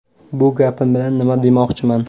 Bu gapim bilan nima demoqchiman.